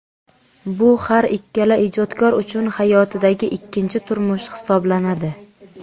Bu har ikkala ijodkor uchun hayotidagi ikkinchi turmush hisoblanadi.